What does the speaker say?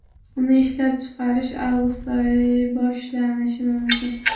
Uni ishlab chiqarish avgust oyida boshlanishi mumkin.